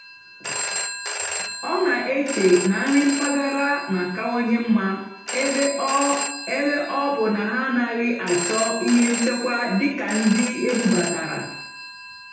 ọ́ nà-èché nà nrì mpàgàrà nà-àkáwanyé mmá ébé ọ́ ébé ọ́ bụ́ ná hà ánàghị́ àchọ́ íhé nchèkwá dì́ kà ndí ébúbátàrá.